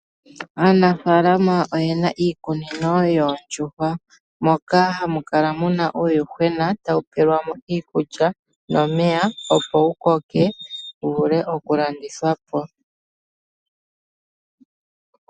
Aanafaalama oyena iikunino yoondjuhwa moka hamu kala muna uuyuhwena tawu pelwa mo iikulya nomeya, po wu koke wu vule oku landithwa po.